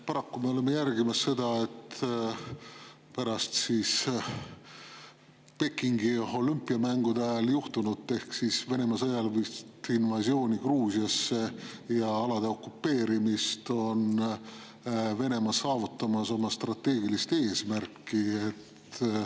Paraku me oleme jälgimas seda, et pärast Pekingi olümpiamängude ajal juhtunut ehk siis Venemaa sõjalist invasiooni Gruusiasse ja alade okupeerimist on Venemaa saavutamas oma strateegilist eesmärki.